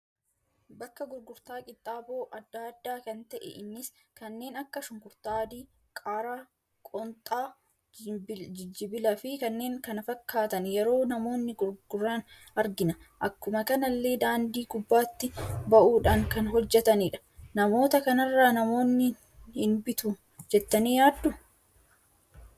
Bakka gurgurtaa qinxaaboo adda, addaa kan ta'e, innis kanneen akka shunkurtaa adii, qaaraa, qoonxaa, jijibbilaa fi kanneen kana fakkatan yeroo namoonni gurguraan argina. Akkuma kanalle daandii gubbatti ba'uudhan kan hojjetanidha. Namoota kanarra namoonni in bitu jettani yaaddu?